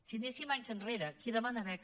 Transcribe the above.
si anéssim anys enrere qui demana beca